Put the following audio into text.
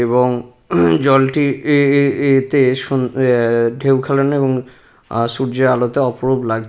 এবং জলটি এ এ এতে সুন্ এ এ ঢেউ খেলানো এবং আ সূর্যের আলোতে অপরূপ লাগ--